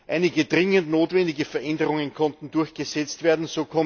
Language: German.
Einige dringend notwendige Veränderungen konnten durchgesetzt werden.